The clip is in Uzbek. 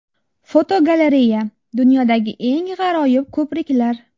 Fotogalereya: Dunyodagi eng g‘aroyib ko‘priklar.